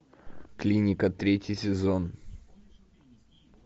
клиника третий сезон